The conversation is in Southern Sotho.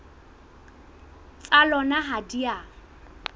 tsa lona ha di a